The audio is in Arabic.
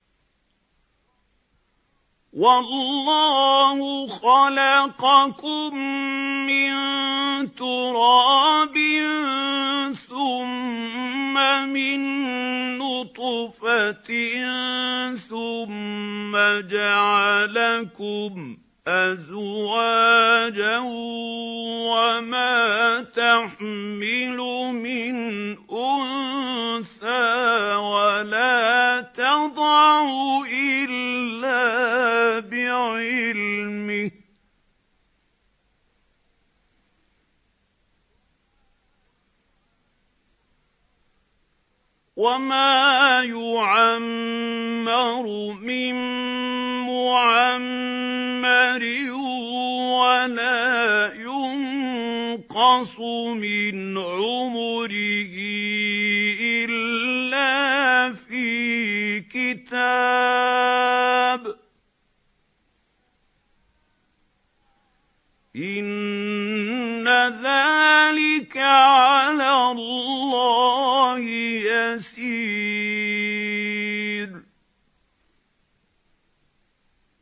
وَاللَّهُ خَلَقَكُم مِّن تُرَابٍ ثُمَّ مِن نُّطْفَةٍ ثُمَّ جَعَلَكُمْ أَزْوَاجًا ۚ وَمَا تَحْمِلُ مِنْ أُنثَىٰ وَلَا تَضَعُ إِلَّا بِعِلْمِهِ ۚ وَمَا يُعَمَّرُ مِن مُّعَمَّرٍ وَلَا يُنقَصُ مِنْ عُمُرِهِ إِلَّا فِي كِتَابٍ ۚ إِنَّ ذَٰلِكَ عَلَى اللَّهِ يَسِيرٌ